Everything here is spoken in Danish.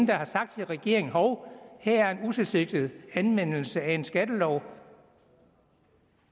der har sagt til regeringen at hov her er en utilsigtet anvendelse af en skattelov